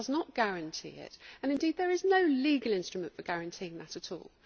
It does not guarantee it, and indeed there is no legal instrument for guaranteeing that at all.